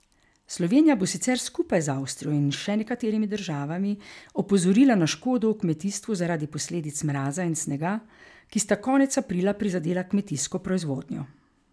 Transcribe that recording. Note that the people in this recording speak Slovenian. Slovenija bo sicer skupaj z Avstrijo in še nekaterimi državami opozorila na škodo v kmetijstvu zaradi posledic mraza in snega, ki sta konec aprila prizadela kmetijsko proizvodnjo.